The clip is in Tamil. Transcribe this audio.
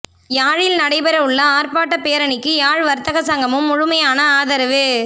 யாழில் நடைபெறவுள்ள ஆர்ப்பாட்டப் பேரணிக்கு யாழ் வர்த்தக சங்கமும் முழுமையான ஆதரவு